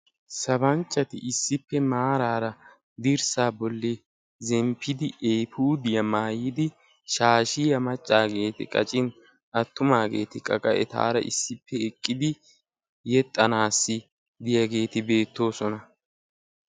Sabanchchati issippe maarara dirssa bolli eepudiyaa maayyidi shashshiyaa maccageeti qaccin attumageetikka qa etaara issippe eqqidi yeexxanassi biyaageeti beettoosona.